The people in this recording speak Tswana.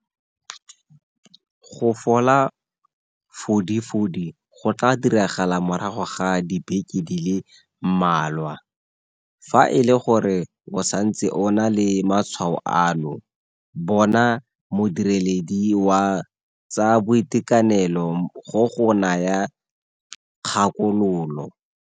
Go fola fodi fodi go tla diragala morago ga dibeke di le mmalwa. Fa e le gore o santse o na le matshwao ano, bona modiredi wa tsa boitekanelo go go naya kgakololo.